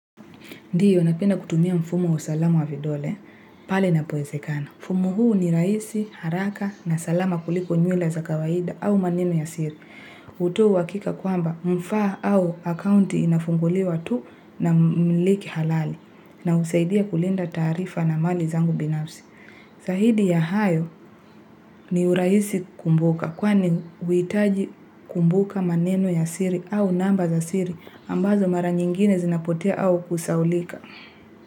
Ndiyo, napenda kutumia mfumo wa usalamu wa vidole, pale ina poezekana. Mfumo huu ni raisi, haraka na salama kuliko nywila za kawaida au maneno ya siri. Utoa uwakika kwamba mfa au akounti inafunguliwa tu na mmiliki halali na usaidia kulinda tarifa na mali zangu binafsi. Zahidi ya hayo ni uraisi kumbuka kwani huitaji kumbuka maneno ya siri au namba za siri ambazo mara nyingine zinapotea au kusaulika.